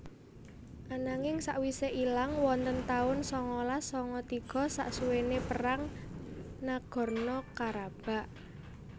Ananging sakwise ilang wonten tahun sangalas sanga tiga saksuwene perang Nagorno Karabakh